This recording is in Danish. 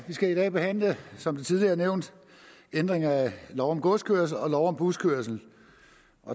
vi skal i dag behandle som det tidligere er nævnt ændringer af lov om godskørsel og lov om buskørsel